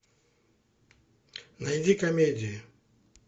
найди комедии